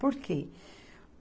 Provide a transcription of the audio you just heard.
Por quê?